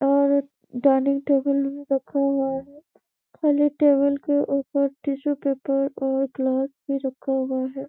और dining table भी रखा हुआ है खाली टेबल के ऊपर टिशु पेपर और ग्लास भी रखा हुआ है ।